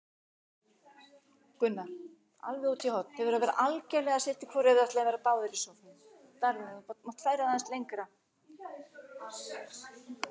Hugrún: Og heldur þú að þú eigir eftir að setja upp fleiri sýningar?